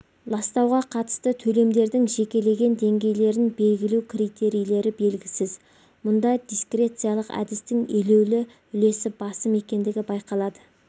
ластауға қатысты төлемдердің жекелеген деңгейлерін белгілеу критерийлері белгісіз мұнда дискрециялық әдістің елеулі үлесі басым екендігі байқалады